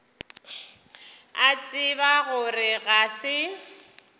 a tseba gore ga se